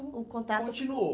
o contato, continuou.